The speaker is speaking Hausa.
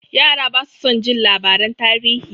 Yara basu son jin labaran tarihi.